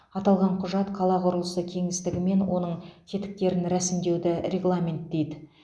аталған құжат қала құрылысы кеңістігі мен оның тетіктерін рәсімдеуді регламенттейді